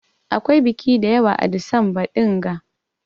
Akwai biƙi dayawa a disamba dinga.